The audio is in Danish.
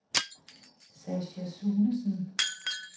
Sascha Sunesen